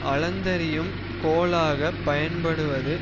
அளந்தறியும் கோலாகப் பயன்படுவது